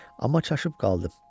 Amma çaşıb qaldım.